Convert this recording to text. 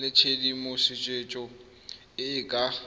le tshedimosetso e e ka